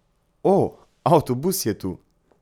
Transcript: O, avtobus je tu.